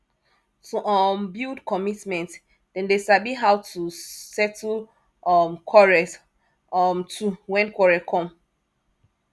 to um build commitment dem dey sabi how to settle um quarrels um too when quarrel come